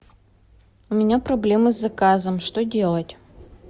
у меня проблемы с заказом что делать